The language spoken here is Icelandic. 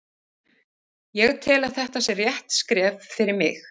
Ég tel að þetta sé rétt skref fyrir mig.